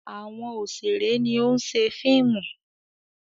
Àwọn òṣèré ni ó ń ṣe fíìmù.